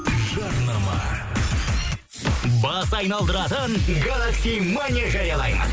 жарнама бас айналдыратын гэлакси